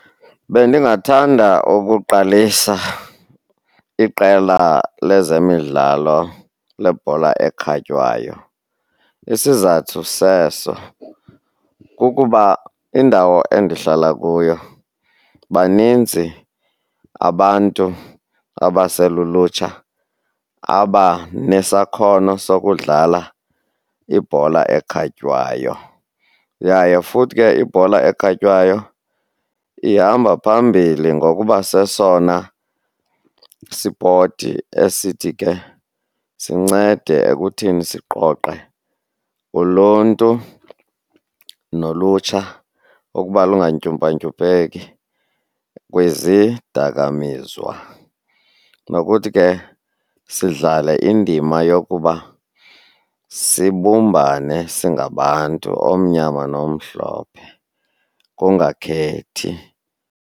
Bendingathanda ukuqalisa iqela lezemidlalo lebhola ekhatywayo. Isizathu seso kukuba indawo endihlala kuyo baninzi abantu abaselulutsha abanesakhono sokudlala ibhola ekhatywayo, yaye futhi ke ibhola ekhatywayo ihamba phambili ngokuba sesona sipoti esithi ke sincede ekuthini siqoqe uluntu nolutsha ukuba lungantyumpantyumpeki kwizidakamiswa, nokuthi ke sidlale indima yokuba sibumbane singabantu, omyama nomhlophe kungakhethi.